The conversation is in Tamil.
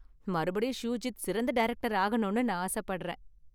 மறுபடியும் ஷூஜித் சிறந்த டைரக்டர் ஆகணும்னு நான் ஆசப்படுறேன்.